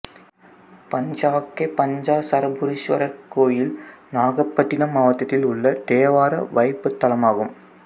பஞ்சாக்கை பஞ்சாட்சரபுரீசுவரர் கோயில் நாகப்பட்டினம் மாவட்டத்தில் உள்ள தேவார வைப்புத்தலமாகும்